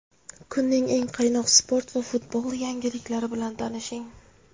Kunning eng qaynoq sport va futbol yangiliklari bilan tanishing;.